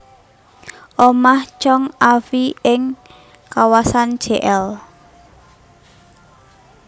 Omah Tjong A Fie ing kawasan Jl